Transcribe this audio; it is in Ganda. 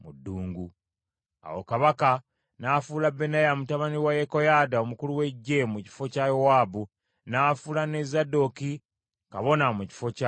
Awo kabaka n’afuula Benaya mutabani wa Yekoyaada omukulu w’eggye mu kifo kya Yowaabu, n’afuula ne Zadooki kabona mu kifo kya Abiyasaali.